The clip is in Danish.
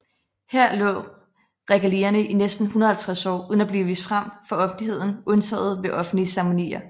Her lå regalierne i næsten 150 år uden at blive vist frem for offentligheden undtaget ved offentlige ceremonier